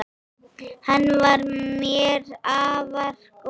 Hann var mér afar góður.